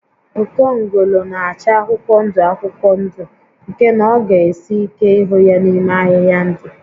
Okongolo na-acha akwụkwọ ndụ akwụkwọ ndụ nke na ọ ga esi ike ịhụ ya n'ime ahịhịa ndụ